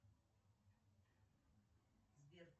сбер